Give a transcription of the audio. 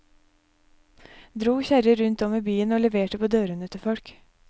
Dro kjerrer rundt om i byen og leverte på dørene til folk.